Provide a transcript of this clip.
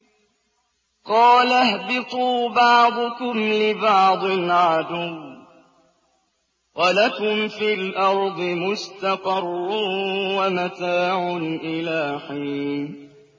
قَالَ اهْبِطُوا بَعْضُكُمْ لِبَعْضٍ عَدُوٌّ ۖ وَلَكُمْ فِي الْأَرْضِ مُسْتَقَرٌّ وَمَتَاعٌ إِلَىٰ حِينٍ